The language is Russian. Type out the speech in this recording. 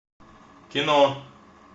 кино